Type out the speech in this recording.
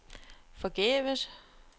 forgæves